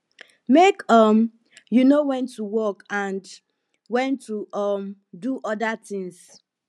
make um you know wen to work and wen to um do oda tins